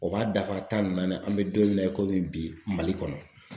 O b'a dafa tan ni naani nan an bɛ don min na i komi bi Mali kɔnɔ.